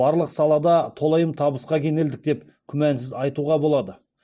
барлық салада толайым табысқа кенелдік деп күмәнсіз айтуға болады